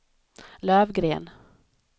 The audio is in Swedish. Lövgren